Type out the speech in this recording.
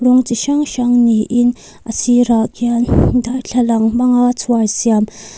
rawng chi hrang hrang ni in a sirah khian darthlalang hmanga chhuar siam.